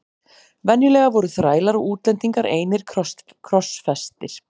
Venjulega voru þrælar og útlendingar einir krossfestir.